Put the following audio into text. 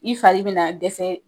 I fari be na dɛsɛ